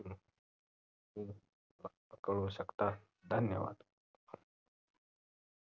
कळवू शकता धन्यवाद